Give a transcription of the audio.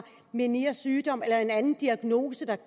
menières sygdom eller en anden diagnose der